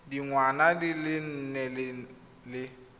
dingwaga di le nne le